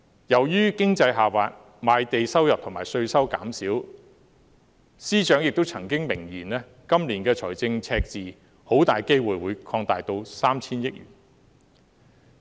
由於經濟下滑，賣地收入及稅收減少，司長亦曾經明言今年的財政赤字很大機會會擴大至 3,000 億元。